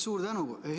Suur tänu!